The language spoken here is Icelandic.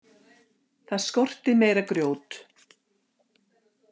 Það skorti meira grjót.